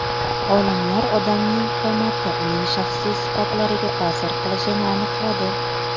Olimlar odamning qomati uning shaxsiy sifatlariga ta’sir qilishini aniqladi.